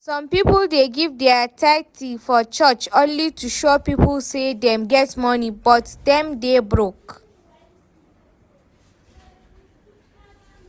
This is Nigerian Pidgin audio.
Some people dey give dia tithe for church only to show people say dem get money, but dem dey broke